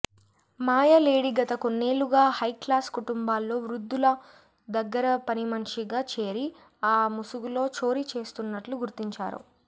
మాయ lady గత కొన్నేళ్లుగా high class కుటుంబాల్లో వృద్ధుల దగ్గర పనిమనిషిగా చేరి ఆ ముసుగులో చోరీ చేస్తున్నట్లు గుర్తించారు